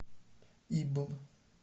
ибб